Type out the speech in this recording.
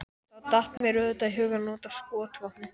Þá datt mér auðvitað í hug að nota skotvopnið.